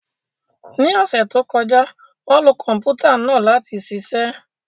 Ní ọ̀sẹ̀ tó kọjá, wọ́n lo Kọ̀m̀pútà náà láti ṣiṣẹ́